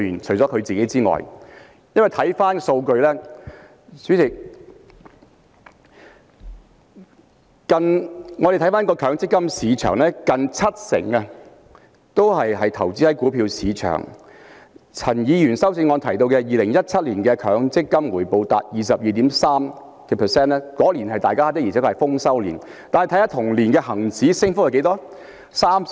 代理主席，看回數據，我們看到強積金市場近七成是投資在股票市場，陳議員在修正案中提到2017年強積金回報達 22.3%， 當年的而且確是豐收年；但再看看同年的恒指升幅是多少？